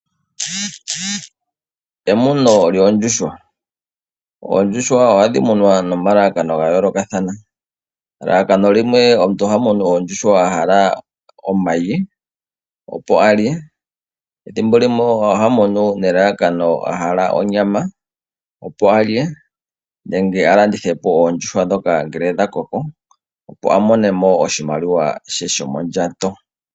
Emuno lyoondjuhwa. Oondjuhwa ohadhi munwa nomalalako ga yoolokathana. Elalakano limwe okumona omayi, opo a lye. Ethimbo limwe oha munu nelalakano a hala onyama opo a lye, nenge a landithe po oondjuhwa ndhoka ngele dha koko opo a mone mo oshimaliwa she shomondjato.